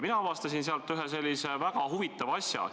Mina avastasin sealt ühe väga huvitava asja.